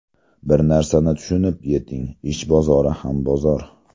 Bir narsani tushunib yeting ish bozori ham bozor!